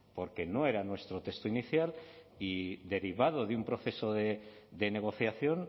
porque no era nuestro texto inicial y derivado de un proceso de negociación